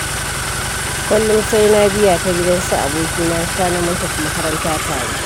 Kullum sai na biya ta gidan su abokina Sani mu tafi makaranta tare.